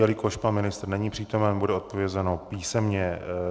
Jelikož pan ministr není přítomen, bude odpovězeno písemně.